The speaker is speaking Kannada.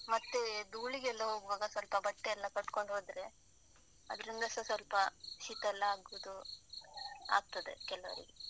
ಮತ್ತೆ ಧೂಳಿಗೆಲ್ಲ ಹೋಗುವಾಗ ಸ್ವಲ್ಪ ಬಟ್ಟೆ ಎಲ್ಲಾ ಕಟ್ಕೊಂಡು ಹೋದ್ರೆ, ಅದ್ರಿಂದಸ ಸ್ವಲ್ಪ ಶೀತ ಎಲ್ಲ ಆಗುವುದು ಆಗ್ತದೆ ಕೆಲವರಿಗೆ.